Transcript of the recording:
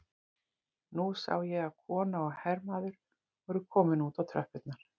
Nú sá ég að kona og hermaður voru komin út á tröppurnar.